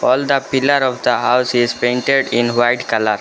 All the pillar of the house is painted in white colour.